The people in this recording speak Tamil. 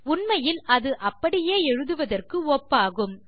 உண்மையில் அது அப்படியே எழுதுவதற்கு ஒப்பாகும்